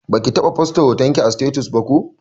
Baki taɓa fosta hotonki a sitatus ba ko?